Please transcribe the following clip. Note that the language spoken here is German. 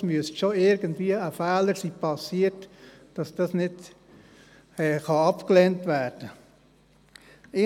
Es müsste schon irgendein Fehler geschehen sein, damit das nicht abgelehnt werden kann.